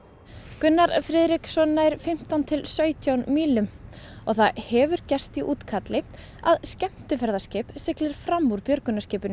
Gunnar Friðriksson nær fimmtán til sautján mílum og það hefur gerst í útkalli að skemmtiferðaskip sigldi fram úr björgunarskipinu